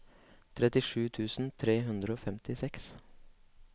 trettisju tusen tre hundre og femtiseks